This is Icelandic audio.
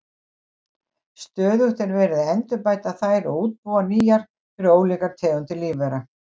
Stöðugt er verið að endurbæta þær og útbúa nýjar fyrir ólíkar tegundir lífvera.